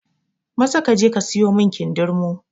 Maza kaje ka siyo min kindirmo!